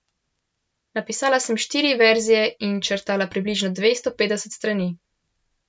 Napisala sem štiri verzije in črtala približno dvesto petdeset strani.